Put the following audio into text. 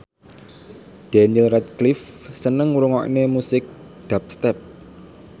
Daniel Radcliffe seneng ngrungokne musik dubstep